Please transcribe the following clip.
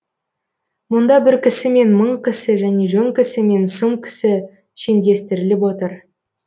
мұнда бір кісі мен мың кісі және жөн кісі мен сұм кісі шендестіріліп отыр